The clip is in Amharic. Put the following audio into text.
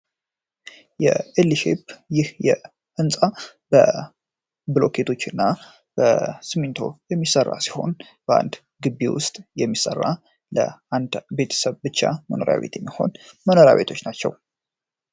የኤልሻፕ ህንፃ በብሎኬት እና በሲሚንቶ የሚሰራ ሲሆን በአንድ ጊቢ ውስጥ የሚሠራ ለአንድ ቤተሰብ ብቻ የሚሆን መኖሪያ ቤት መኖሪያ ቤቶች ናቸው።